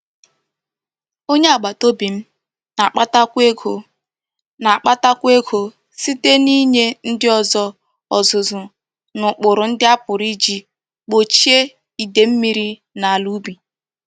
Onye agbataobi m na-akpatakwu ego m na-akpatakwu ego site n'inye ndi ozo ozuzu n'ukpuru ndi a puru Iji gbochie ide mmiri n'ala ubi.